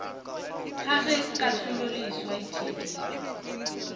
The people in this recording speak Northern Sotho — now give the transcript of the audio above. ga ge kahlololeswa e theeleditšwe